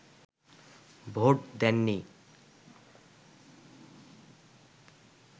vote দেননি